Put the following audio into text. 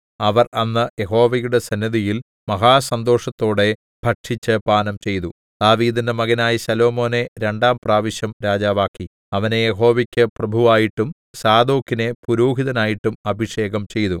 അവർ അന്ന് യഹോവയുടെ സന്നിധിയിൽ മഹാസന്തോഷത്തോടെ ഭക്ഷിച്ചു പാനംചെയ്തു ദാവീദിന്റെ മകനായ ശലോമോനെ രണ്ടാം പ്രാവശ്യം രാജാവാക്കി അവനെ യഹോവയ്ക്കു് പ്രഭുവായിട്ടും സാദോക്കിനെ പുരോഹിതനായിട്ടും അഭിഷേകം ചെയ്തു